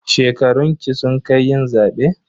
Shekarunki sun kai yin zaɓe?